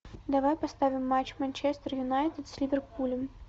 давай поставим матч манчестер юнайтед с ливерпулем